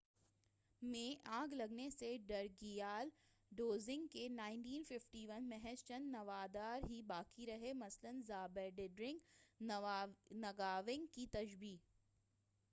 1951 میں آگ لگنے سے ڈرکگیال ڈزونگ کے محض چند نوادر ہی باقی رہے مثلاً ژابڈرنگ نگاوانگ کی شبییہ